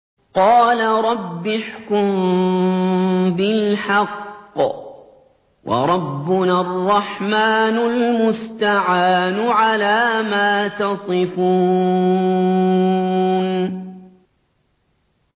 قَالَ رَبِّ احْكُم بِالْحَقِّ ۗ وَرَبُّنَا الرَّحْمَٰنُ الْمُسْتَعَانُ عَلَىٰ مَا تَصِفُونَ